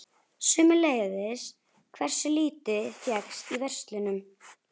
Sömuleiðis hversu lítið fékkst í verslunum.